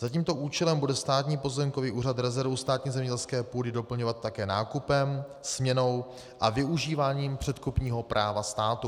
Za tímto účelem bude Státní pozemkový úřad rezervu státní zemědělské půdy doplňovat také nákupem, směnou a využíváním předkupního práva státu.